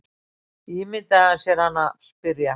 Ímyndaði hann sér hana spyrja.